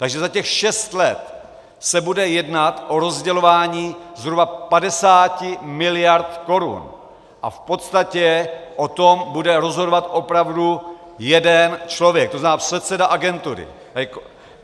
Takže za těch šest let se bude jednat o rozdělování zhruba 50 miliard korun a v podstatě o tom bude rozhodovat opravdu jeden člověk, to znamená předseda agentury.